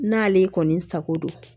N'ale kɔni sago don